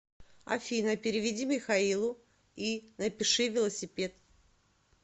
афина переведи михаилу и напиши велосипед